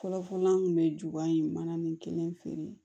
Fɔlɔfɔlɔ an kun bɛ ju in manaani kelen feere